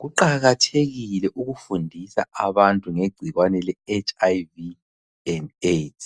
Kuqakathekile ukufundisa abantu ngegcikwane leHIV and AIDS.